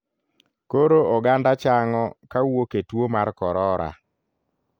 Koro oganda chang'o kawuok e tuo mar korora.